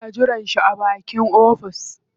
Suna jiran shi a bakin ofis.